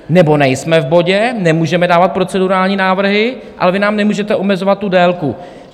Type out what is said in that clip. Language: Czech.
Nebo nejsme v bodě, nemůžeme dávat procedurální návrhy, ale vy nám nemůžete omezovat tu délku.